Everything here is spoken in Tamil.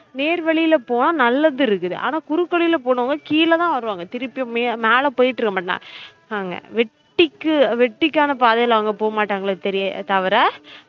நேர்வழில இப்போ நல்லது இருக்குது ஆனா குறுக்கு வழில போனவுங்க கீழ தான் வருவாங்க திருப்பி மேல போயிட்டு இருக்கமாட்டாங்க வெட்டிக்கு வெட்டிக்கான பாதைல அவுங்க போகமாட்டாங்களே தெரிய தவிர